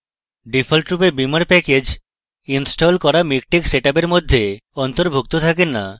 ডিফল্টভাবে beamer package আমাদের install করা miktex সেটআপের মধ্যে অন্তর্ভূক্ত থাকে না